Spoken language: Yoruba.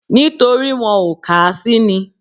Nítorí wọn ò kà á sí ni